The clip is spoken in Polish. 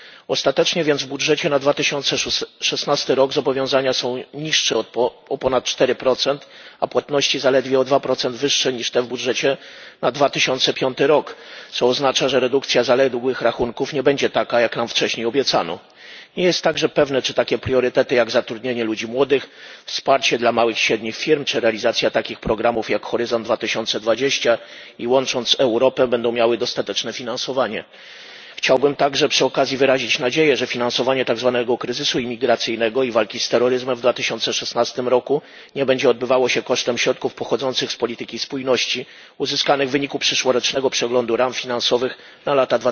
Ostatecznie więc w budżecie na 2016 rok zobowiązania są niższe o ponad 4, a płatności zaledwie o 2 wyższe niż te w budżecie na 2015 rok, co oznacza, że redukcja zaległych rachunków nie będzie taka, jak nam wcześniej obiecano. Nie jest także pewne, czy takie priorytety jak zatrudnianie ludzi młodych, wsparcie dla małych i średnich firm czy realizacja programów takich jak Horyzont 2020 i Łącząc Europę będą miały dostateczne finansowanie. Chciałbym także przy okazji wyrazić nadzieję, że finansowanie tak zwanego kryzysu imigracyjnego i walki z terroryzmem w 2016 roku nie będzie odbywało się kosztem środków pochodzących z polityki spójności, uzyskanych w wyniku przyszłorocznego przeglądu ram finansowych na lata